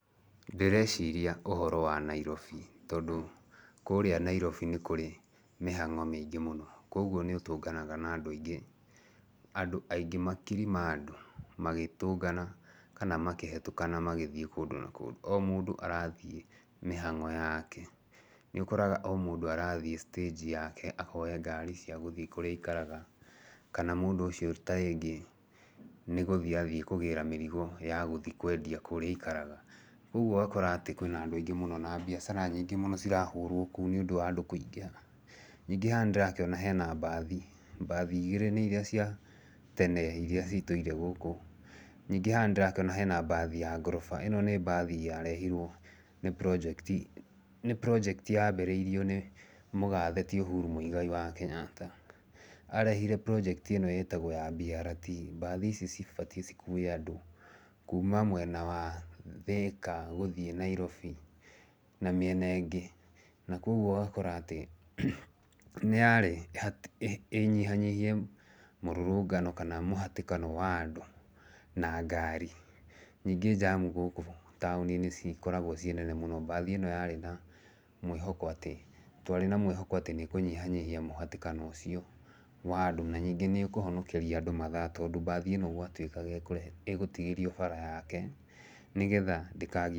Ndĩreciria ũhoro wa Nairobi, tondũ kũrĩa Nairobi nĩ kũrĩ mĩhango mĩingĩ mũno. Koguo nĩ ũtũnganaga na andũ aingĩ, makiri ma andũ magitũngana kana makĩhĩtũkana magĩthiĩ kũndũ na kũndũ. O mũndũ arathiĩ mĩhango yake. Nĩ ũkoraga o mũndũ arathiĩ stage yake akoe ngari cia gũthiĩ kũrĩa aikaraga. Kana mũndũ ũcio ta rĩngĩ nĩ gũthiĩ athiĩ kũgĩra mĩrigo ya gũthiĩ kwendia kũrĩa aikaraga. Ũguo ugakora atĩ kwĩna andũ aingĩ mũno na biacara nyingĩ mũno cirahũrwo kũu nĩ ũndũ wa andũ kũingĩha. Ningĩ haha nĩ ndĩrakĩona hena mbathi, mbathi igĩrĩ nĩ irĩa cia tene irĩa citũire gũkũ. Ningĩ haha nĩ ndĩrakĩona hena mbathi ya ngoroba ĩno nĩ mbathi yarehirwo nĩ project yambĩrĩirio nĩ mũgathe ti Ũhuru Mũigai wa Kenyatta. Arehire project ĩno ĩtagwo ya BRT. Mbathi ici cibatiĩ cikue andũ kuuma mwena wa Thĩka gĩthiĩ Nairobi na mĩena ĩngĩ. Na kwoguo ũgakora atĩ nĩ yarĩ ĩnyihanyihie mũrũrũngano kana mũhatĩkano wa andũ na ngari. Ningĩ jam gũkũ taũni nĩ cikoragwo ci nene mũno. Mbathi ĩno yarĩ na mwĩhoko twarĩ na mwĩhoko atĩ nĩ ĩkũnyihanyihia mũhatĩkano ũcio wa andũ na ningĩ nĩ ĩkũhonokeria andũ mathaa. Tondũ mbathi ĩno yatuĩkaga egũtigĩrio bara yake nĩgetha ndĩka...